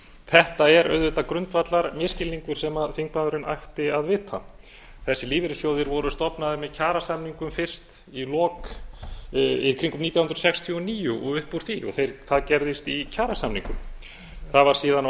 þetta er auðvitað grundvallarmisskilningur sem þingmaðurinn ætti að vita þessir lífeyrissjóðir voru stofnaðir með kjarasamningum fyrst í kringum nítján hundruð sextíu og níu og upp úr því og það gerðist í kjarasamningum það var síðan á